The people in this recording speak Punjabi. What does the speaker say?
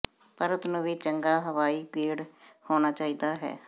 ਪਰਤ ਨੂੰ ਵੀ ਚੰਗਾ ਹਵਾਈ ਗੇੜ ਹੋਣਾ ਚਾਹੀਦਾ ਹੈ